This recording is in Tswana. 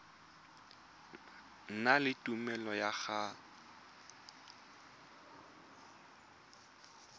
na le tumelelo ya go